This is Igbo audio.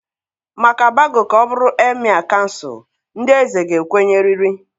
Maka Bago ka ọ bụrụ Emịee kansụl ndị eze ga-ekwenyerịrị.